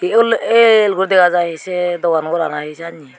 yol yel guri dega jai sei dogan goran i sianney.